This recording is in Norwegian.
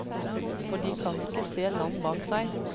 For de kan ikke se land bak seg.